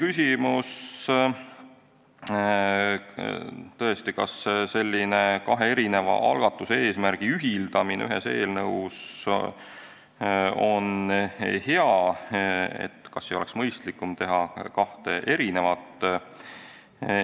Meil oli tõesti ka küsimus, kas kahe erineva algatuse, eesmärgi ühildamine ühes eelnõus on hea, kas ei oleks mõistlikum teha kaks eelnõu.